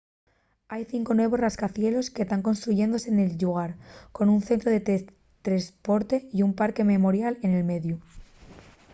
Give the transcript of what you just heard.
hai cinco nuevos rascacielos que tán construyéndose nel llugar con un centru de tresporte y un parque memorial en mediu